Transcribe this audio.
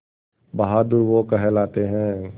बहादुर वो कहलाते हैं